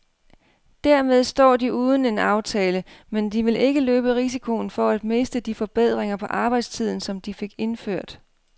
Dermed står de uden en aftale, men de vil ikke løbe risikoen for at miste de forbedringer på arbejdstiden, som de fik indført.